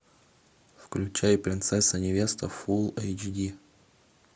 включай принцесса невеста фул эйч ди